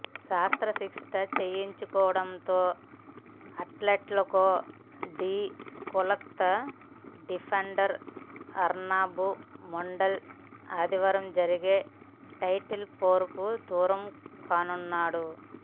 శస్త్ర చికిత్స చేయించుకోనుండటంతో Atletico de Kolkata defender Arnab Mondal ఆదివారం జరిగే టైటిల్ పోరుకు దూరం కానున్నాడు